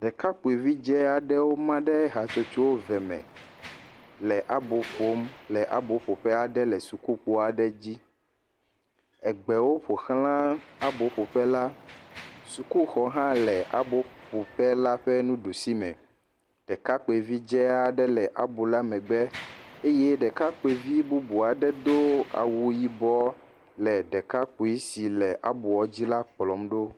Ɖekakpuie vi dze aɖewo maɖe ha ƒoƒo eve me le abo ƒom, le abo ƒo ƒe aɖe le suku kpo aɖe dzi. Gbewo ƒo xlã abɔ ƒoƒe la, suku zɔ aɖe hã le abɔ ƒo ƒe la ƒe nuɖusime. Ɖekakpuie vi dze aɖe le abɔ la megbe eye ɖekakpuie bubu aɖe do awu yibɔ le ɖekakpui si le abɔ la dzi kplɔ ɖo.